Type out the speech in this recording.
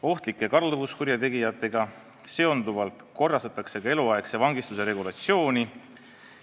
Ohtlike kalduvuskurjategijatega seonduvalt korrastatakse ka eluaegse vangistuse regulatsiooni.